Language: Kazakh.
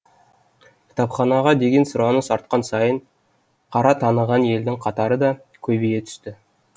кітапханаға деген сұраныс артқан сайын қара таныған елдің қатары да көбейе түсті